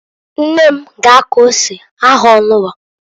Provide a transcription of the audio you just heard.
Nne m g' akọ ose ahanwa.